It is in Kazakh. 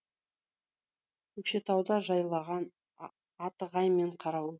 көкшетауда жайлаған атығай мен қарауыл